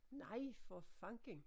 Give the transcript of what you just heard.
Nej for fanden